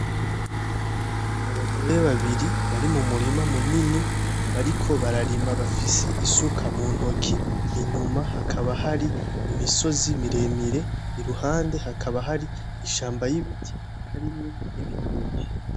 N'abagore babiri bari mumurima munini bariko bararima bafise isuka muntoki inyuma hakaba hari imisozi miremire iruhande haka hari ishamba ry'ibiti harimwo n'ibitoki